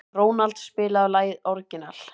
Ronald, spilaðu lagið „Orginal“.